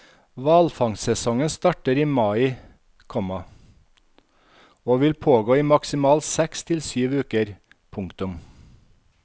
Hvalfangstsesongen starter i mai, komma og vil pågå i maksimalt seks til syv uker. punktum